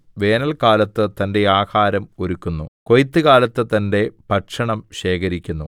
വേനല്ക്കാലത്ത് തന്റെ ആഹാരം ഒരുക്കുന്നു കൊയ്ത്തുകാലത്ത് തന്റെ ഭക്ഷണം ശേഖരിക്കുന്നു